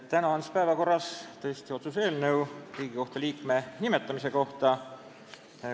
Täna on siis päevakorras otsuse eelnõu Riigikohtu liikme nimetamise kohta.